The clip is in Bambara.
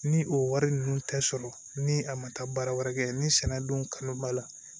Ni o wari ninnu tɛ sɔrɔ ni a ma taa baara wɛrɛ kɛ ni sɛnɛ don kanu b'a la